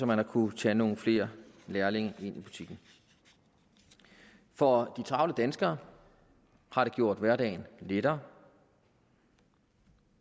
man har kunnet tage nogle flere lærlinge ind i butikken for de travle danskere har det gjort hverdagen lettere